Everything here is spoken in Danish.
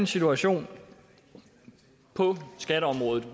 situation på skatteområdet